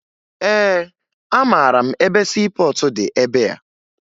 Ee, amara m ebe siipọọtụ dị ebea